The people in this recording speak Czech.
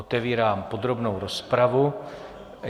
Otevírám podrobnou rozpravu.